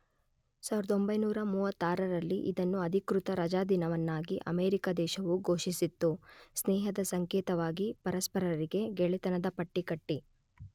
೧೯೩೫ರಲ್ಲಿ ಇದನ್ನು ಅಧಿಕೃತ ರಜಾದಿನವನ್ನಾಗಿ ಅಮೇರಿಕಾ ದೇಶವು ಘೋಷಿಸಿತ್ತು.ಸ್ನೇಹದ ಸಂಕೇತವಾಗಿ ಪರಸ್ಪರರಿಗೆ ಗೆಳೆತನದ ಪಟ್ಟಿ ಕಟ್ಟಿ